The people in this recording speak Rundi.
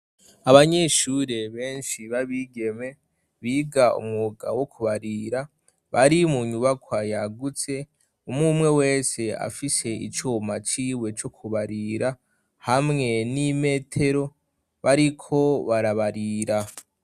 Abanyeshure benshi babigeme biga umwuga wo kubarira bari mu nyubakwa yagutse umwumwe wese afise icuma ciwe co kubarira hamwe n'imetero bariko barabarira.